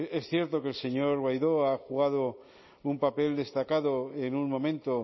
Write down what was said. es cierto que el señor guaidó ha jugado un papel destacado en un momento